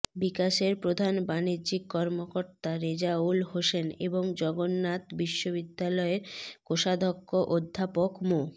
বিকাশের প্রধান বাণিজ্যিক কর্মকর্তা রেজাউল হোসেন এবং জগন্নাথ বিশ্ববিদ্যালয়ের কোষাধ্যক্ষ অধ্যাপক মো